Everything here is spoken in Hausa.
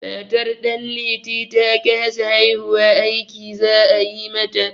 Matar Ɗanliti ta kasa haihuwa, aiki za a yi mata.